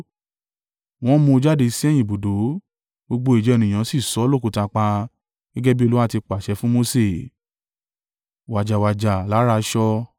Wọ́n mú un jáde sí ẹ̀yìn ibùdó, gbogbo ìjọ ènìyàn sì sọ ọ́ lókùúta pa, gẹ́gẹ́ bí Olúwa ti pàṣẹ fún Mose.